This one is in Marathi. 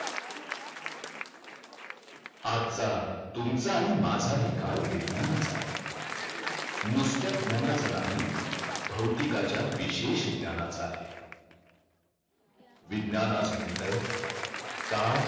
आजचा तुमचा आणि माझा ही काल विज्ञानाचा आहे नुसत्याच ज्ञानाचा नाही बहुतीकाच्या विशेष ज्ञानाचा आहे विज्ञान आज म्हणतय